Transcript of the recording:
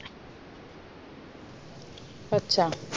अच्छा